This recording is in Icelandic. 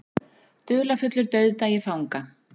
Dularfullur dauðdagi fanga